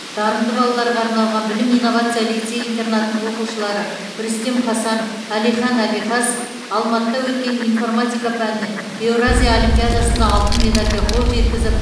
дарынды балаларға арналған білім инновация лицей интернатының оқушылары рүстем хасанов әлихан абихас алматыда өткен информатика пәнінен еуразия олимпиадасында алтын медальга қол жеткізіп